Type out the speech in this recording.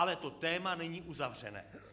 Ale to téma není uzavřené.